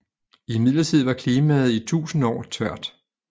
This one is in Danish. Imidlertid var klimaet i tusind år tørt